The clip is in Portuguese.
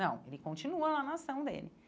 Não, ele continua na nação dele.